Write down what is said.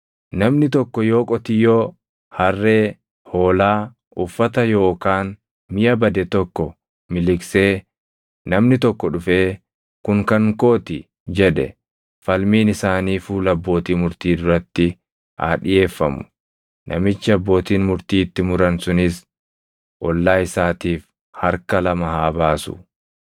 Namni tokko yoo qotiyyoo, harree, hoolaa, uffata yookaan miʼa bade tokko miliqsee namni tokko dhufee, ‘Kun kan koo ti’ jedhe, falmiin isaanii fuula abbootii murtii duratti haa dhiʼeeffamu. Namichi abbootiin murtii itti muran sunis ollaa isaatiif harka lama haa baasu.